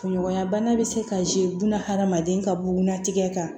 Kunɲɔgɔnya bana bɛ se ka hadamaden ka bunatigɛ kan